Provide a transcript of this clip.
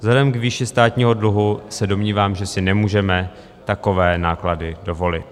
Vzhledem k výši státního dluhu se domnívám, že si nemůžeme takové náklady dovolit.